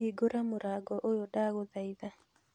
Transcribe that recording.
Hingũrĩra mũrango ũyũ ndagũthatha